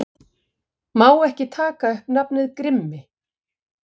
Má ekki taka upp nafnið Grimmi